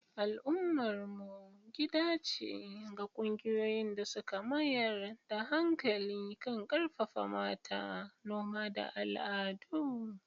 Al'ummar mu gida ce ga ƙungiyoyin da suka mayar da hankali kan ƙarfafa mata, noma, da al'adu.